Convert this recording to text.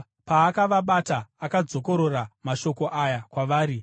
Paakavabata, akadzokorora mashoko aya kwavari.